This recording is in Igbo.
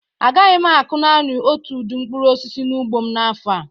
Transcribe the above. A gaghị m akụ naani otu udi mkpụrụ osisi n'ugbo mn'afọ a